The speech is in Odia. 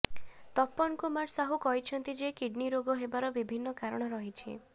ତପନ କୁମାର ସାହୁ କହିଛନ୍ତି ଯେ କିଡନି ରୋଗ ହେବାର ବିଭିନ୍ନ କାରଣ ରହିଛି